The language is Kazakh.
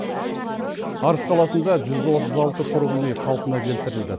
арыс қаласында жүз отыз алты тұрғын үй қалпына келтірілді